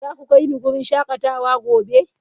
Za ku kai ni wurin shakatawa gobe?